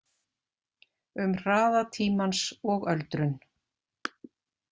Um hraða tímans og öldrun